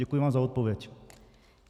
Děkuji vám za odpověď.